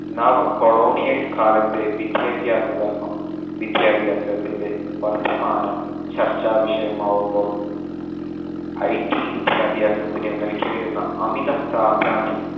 നവ colonial കാലത്തെ വിദ്യാഭ്യാസ ധർമ്മം വിദ്യാഭ്യാസത്തിന്റെ വർത്തമാനം ചർച്ചാ വിഷയമാവുമ്പോൾ IT വിദ്യാഭ്യാസത്തിന് നൽകി വരുന്ന അമിത പ്രാധാന്യം